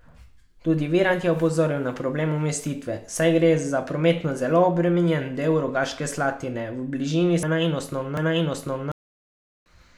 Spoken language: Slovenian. Tudi Virant je opozoril na problem umestitve, saj gre za prometno zelo obremenjen del Rogaške Slatine, v bližini sta tudi glasbena in osnovna šola.